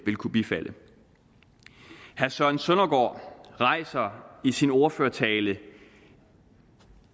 kunne bifalde herre søren søndergaard rejser i sin ordførertale